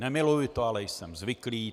Nemiluji to, ale jsem zvyklý.